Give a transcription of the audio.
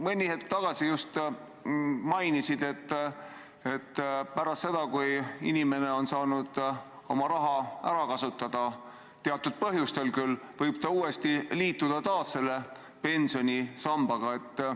Mõni hetk tagasi just mainisid, et pärast seda, kui inimene on saanud oma raha ära kasutada – küll teatud põhjustel –, võib ta uuesti pensionisambaga liituda.